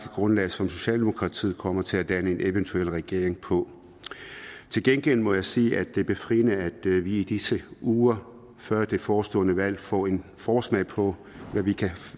grundlag som socialdemokratiet kommer til at danne en eventuel regering på til gengæld må jeg sige at det er befriende at vi i disse uger før det forestående valg får en forsmag på hvad vi kan